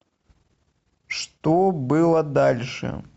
что было дальше